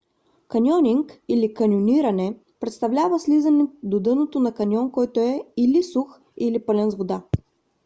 каньонинг или: каньониране представлява слизане до дъното на каньон който е или сух или пълен с вода